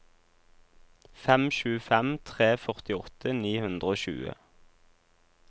fem sju fem tre førtiåtte ni hundre og tjue